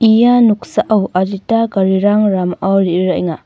ia noksao adita garirang ramao re·ruraenga.